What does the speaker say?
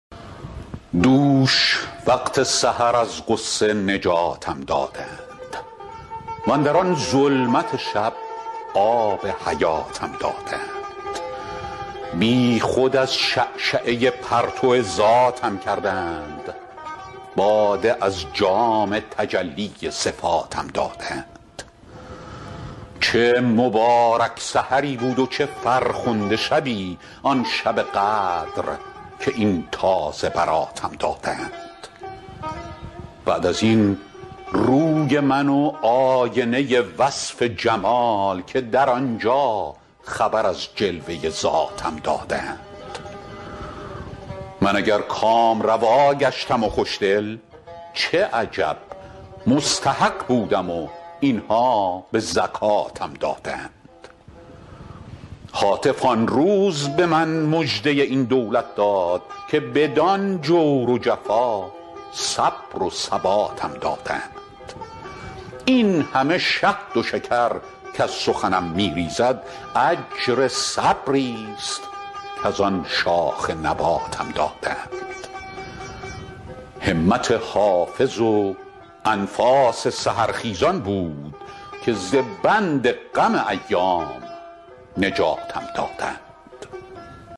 دوش وقت سحر از غصه نجاتم دادند واندر آن ظلمت شب آب حیاتم دادند بی خود از شعشعه پرتو ذاتم کردند باده از جام تجلی صفاتم دادند چه مبارک سحری بود و چه فرخنده شبی آن شب قدر که این تازه براتم دادند بعد از این روی من و آینه وصف جمال که در آن جا خبر از جلوه ذاتم دادند من اگر کامروا گشتم و خوش دل چه عجب مستحق بودم و این ها به زکاتم دادند هاتف آن روز به من مژده این دولت داد که بدان جور و جفا صبر و ثباتم دادند این همه شهد و شکر کز سخنم می ریزد اجر صبری ست کز آن شاخ نباتم دادند همت حافظ و انفاس سحرخیزان بود که ز بند غم ایام نجاتم دادند